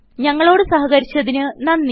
ഞങ്ങളോട് സഹകരിച്ചതിന് നന്ദി